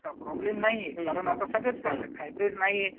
काय प्रॉब्लेम नाहीये कारण आता सगळेच खातात हाईब्रेड नाहीये.